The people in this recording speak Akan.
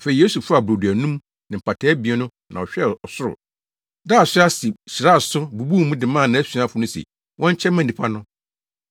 Afei Yesu faa brodo anum no ne mpataa abien no na ɔhwɛɛ ɔsoro, daa so ase, hyiraa so, bubuu mu de maa nʼasuafo no se wɔnkyɛ mma nnipa no.